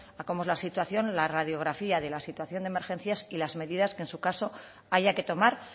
a cómo es la situación la radiografía de la situación de emergencias y las medidas que en su caso haya que tomar